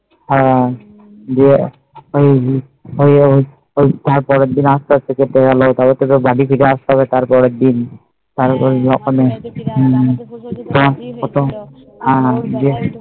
হ্যাঁ